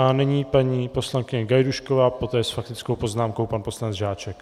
A nyní paní poslankyně Gajdůšková, poté s faktickou poznámkou pan poslanec Žáček.